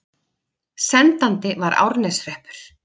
Sendandi var Árneshreppur.